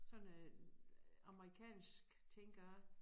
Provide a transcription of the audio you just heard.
Sådan et øh amerikansk tænker jeg